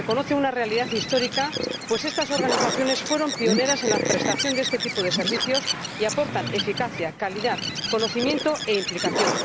reconoce una realidad histórica, pues estas organizaciones fueron pioneras en la prestación de este tipo de servicios y aportan eficacia, calidad, conocimiento e implicación.